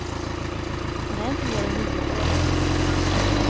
Han är inte mer än nio år.